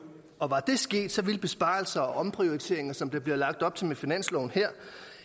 og var det sket ville besparelser og omprioriteringer som der bliver lagt op til med finansloven her